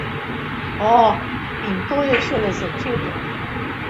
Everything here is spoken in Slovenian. O, in to je šele začetek.